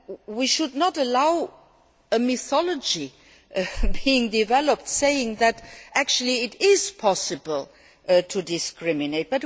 We should not allow a mythology to be developed saying that, actually, it is possible to discriminate.